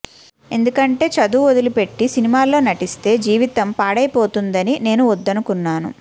ఎందుకంటే చదువు వదిలిపెట్టి సినిమాల్లో నటిస్తే జీవితం పాడైపోతుందని నేను వద్దనుకొన్నాను